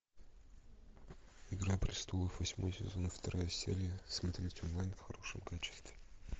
игра престолов восьмой сезон вторая серия смотреть онлайн в хорошем качестве